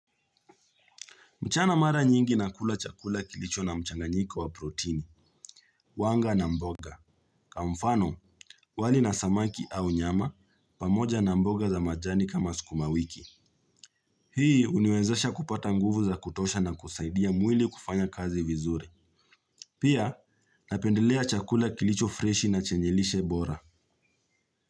Mchana mara nyingi na kula chakula kilicho na mchanganyiko wa proteini, wanga na mboga. Kwa mfano, wali na samaki au nyama pamoja na mboga za majani kama sukuma wiki. Hii huniwezesha kupata nguvu za kutosha na kusaidia mwili kufanya kazi vizuri. Pia, napendelea chakula kilicho freshi na chenye lishe bora.